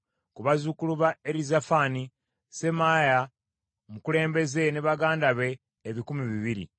ku bazzukulu ba Erizafani, Semaaya omukulembeze ne baganda be ebikumi bibiri,